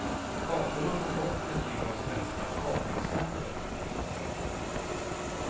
Kartorna får gott betyg av svenska kartexperter.